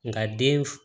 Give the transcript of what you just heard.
Nka den f